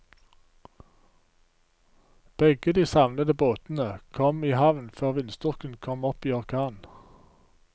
Begge de savnede båtene kom i havn før vindstyrken kom opp i orkan.